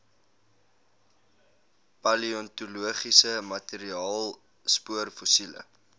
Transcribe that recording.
paleontologiese materiaal spoorfossiele